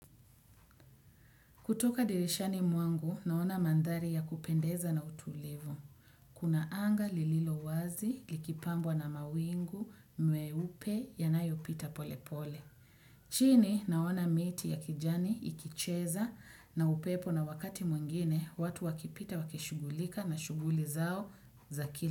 Kutoka dirishani mwangu naona mandhari ya kupendeza na utulivu. Kuna anga lililo wazi lililo wazi likipambwa na mawingu mweupe yanayo pita pole pole. Chini naona miti ya kijani ikicheza na upepo na wakati mwengine watu wakipita wakishugulika na shughuli zao za kila.